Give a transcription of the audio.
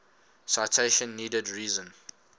citation needed reason